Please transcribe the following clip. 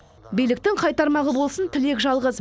биліктің қай тармағы болсын тілек жалғыз